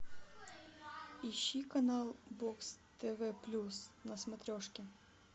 ищи канал бокс тв плюс на смотрешке